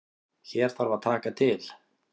Hér þarf að taka til.